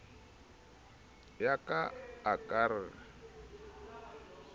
ya ka a ka re